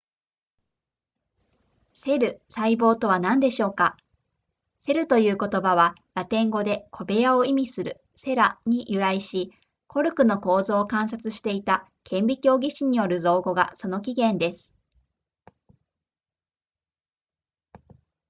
セル細胞とは何でしょうかセルという言葉はラテン語で小部屋を意味する cela に由来しコルクの構造を観察していた顕微鏡技師による造語がその起源です